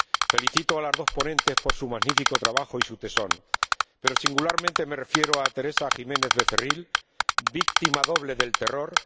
Felicito a las dos ponentes por su magnífico trabajo y su tesón, pero singularmente me refiero a Teresa Jiménez Becerril, víctima doble del terror